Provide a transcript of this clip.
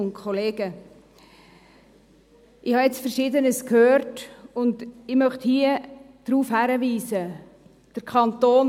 Ich habe jetzt Verschiedenes gehört und möchte auf Folgendes hinweisen: